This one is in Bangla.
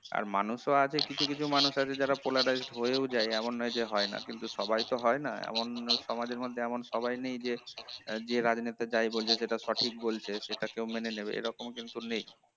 আর মানুষ ও আছে কিছু কিছু মানুষ আছে যারা polarized হয়েও যায় এমন নয় যে হয় না কিন্তু সবাই তো হয় না এমন সমাজের মধ্যে এমন সবাই নেই যে যে রাজনেতা যাই বলছে সেটা সঠিক বলছে সেটা কেও মেনে নেবে এরকম কিন্তু নেই